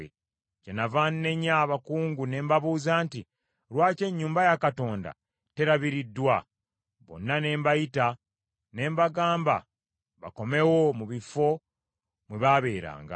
Kyenava nnenya abakungu ne mbabuuza nti, “Lwaki ennyumba ya Katonda terabiriddwa?” Bonna ne mbayita ne mbagamba bakomewo mu bifo mwe baabeeranga.